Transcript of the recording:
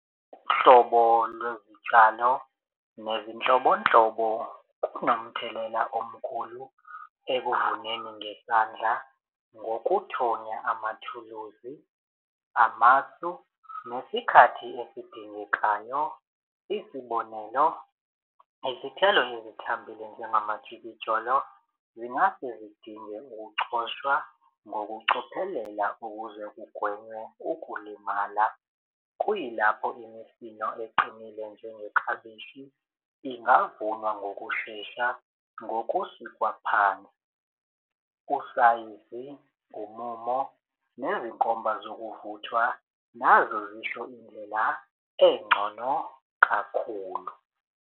Uhlobo lwezitshalo nezinhlobonhlobo kunomthelela omkhulu ekuvuneni ngezandla ngokuthonya amathuluzi, amasu, nesikhathi esidingekayo. Isibonelo, izithelo ezithambile njengamajikijolo zingase zidinge ukucoshwa ngokucophelela ukuze kugwenywe ukulimala. Kuyilapho imifino eqinile njengeklabishi ingavunwa ngokushesha ngokusikwa phansi. Usayizi ngumumo nezinkomba zokuvuthwa nazo zisho indlela engcono kakhulu.